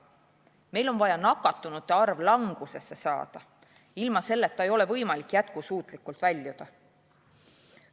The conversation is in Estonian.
Meil on vaja nakatunute arv langusesse saada, ilma selleta ei ole võimalik kriisist jätkusuutlikult väljuda.